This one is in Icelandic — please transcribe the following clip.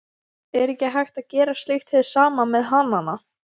Er ekki hægt að gera slíkt hið sama með hanana?